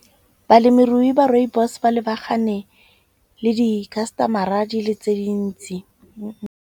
Balemirui ba rooibos ba lebagane le di-customer-a di le tse dintsi.